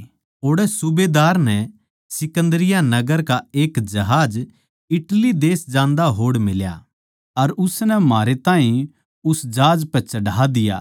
ओड़ै सूबेदार नै सिकन्दरिया नगर का एक जहाज इटली देश जान्दा होड़ फेट्या अर उसनै म्हारै ताहीं उस जहाज पै चढ़ा दिया